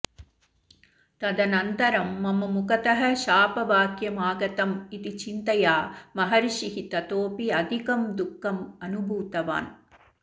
तदनन्तरं मम मुखतः शापवाक्यमागतम् इति चिन्तया महर्षिः ततोऽपि अधिकं दुःखम् अनुभूतवान्